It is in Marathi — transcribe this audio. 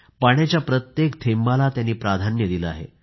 पाण्याच्या प्रत्येक थेंबाला त्यांनी प्राधान्य दिले आहे